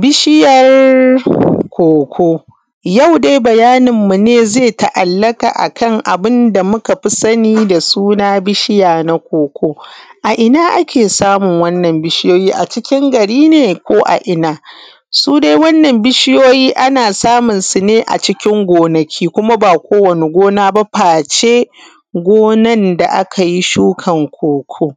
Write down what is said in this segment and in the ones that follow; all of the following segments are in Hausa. Bishiyar cocoa. Yau dai bayanin mu ne zai ta’allaƙa akan abinda muka fi sani da suna bishiya na cocoa. A ina ake samun wannan bishiyoyi a cikin gari ne ko a ina? Su dai wannan bishiyoyi ana samun sune a cikin gonaki kuma ba ko wani gona ba face gonan da akai shukan cocoa.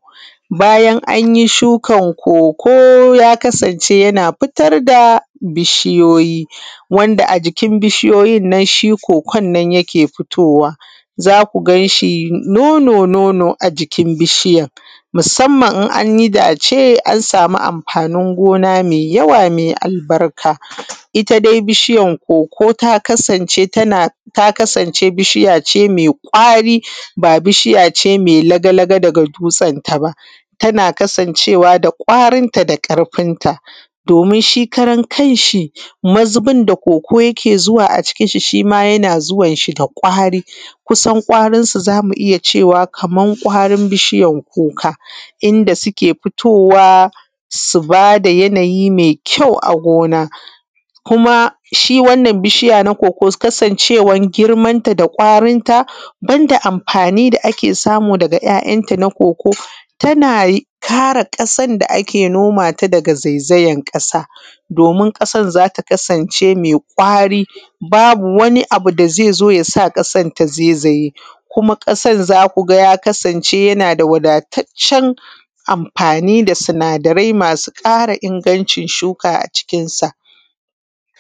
Bayan anyi shukan cocoa ya kasance yana fitar da bishiyoyi, wanda a jikin bishiyoyin nan shi cocoa nan yake fitowa, zaku ganshi nono-nono a jikin bishiyan musamman in an yi dace an samu amfanin gona mai yawa, mai albarka. Ita dai bishiyan cocoa ta kasa ce bishiya ce mai kwari ba bishiyace mai laga-laga daga dutsen ta ba, tana kasancewa da kwarin ta da ƙarfin ta domin shi karan kanshi mazubin da cocoa yake zuwa a cikin shi, shi ma yana zuwan shi da kwari, kusan kwarin su zamu iya cewa kaman kwarin bishiyan kuka, inda suke fitowa su bada yanayi mai kyau a gona. Kuma shi wannan bishiya na cocoa kasancewan girman ta da kwarin ta banda amfani da ake samu daga ‘ya’ ‘ya ta na cocoa tana kare ƙasan da ake noma ta daga zaizayan ƙasa domin ƙasan zata kasance mai kwari babu wani abu da zaizo ya sa ƙasan ta zaizaye kuma ƙasan zaku ga ya kasance yana da wadataccen amfani da sinadarai masu kara ingancin shuka a cikin sa.